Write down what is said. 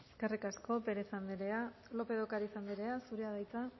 eskerrik asko pérez anderea lópez de ocariz anderea zurea da hitza